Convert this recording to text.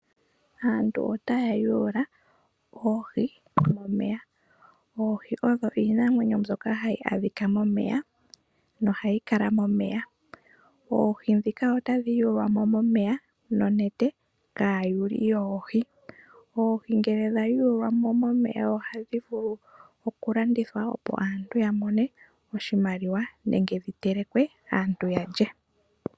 Aantu otaya yuula oohi momeya. Oohi odho iinamwenyo mbyoka hayi adhika momeya, nohayi kala momeya. Oohi dhika otadhi yuulwa mo momeya nonete kaayuli yoohi. Oohi ngele dha yuulwa mo momeya ohadhi vulu okulandithwa opo aantu ya mone oshimaliwa, nenge dhi telekwe aantu yalye.